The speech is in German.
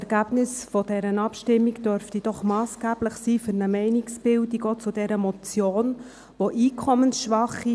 Das Ergebnis dieser Abstimmung dürfte doch für eine Meinungsbildung zu dieser Motion massgeblich sein.